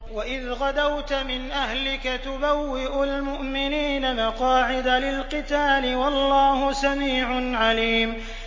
وَإِذْ غَدَوْتَ مِنْ أَهْلِكَ تُبَوِّئُ الْمُؤْمِنِينَ مَقَاعِدَ لِلْقِتَالِ ۗ وَاللَّهُ سَمِيعٌ عَلِيمٌ